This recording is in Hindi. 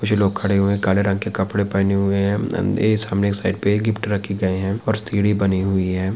ये जो लोग खड़े हुए हैं काले रंग के कपडे पहनें हुए है इस खम्बे की साइड पे गिफ्ट रखे गए है और सीढ़ी बनी हुई है ।